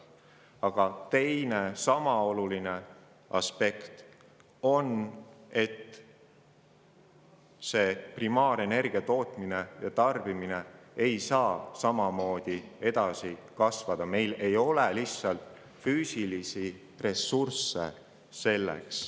Aga teine, sama oluline aspekt on see, et see primaarenergia tootmine ja tarbimine ei saa samamoodi edasi kasvada, sest meil ei ole selleks lihtsalt füüsilisi ressursse.